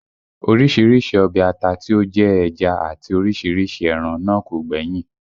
Orísìírísìí ọbẹ̀ ata tí ó jẹ́ ẹja àti orísìírísìí ẹran náà kò gbẹ́yìn